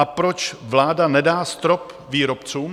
A proč vláda nedá strop výrobcům?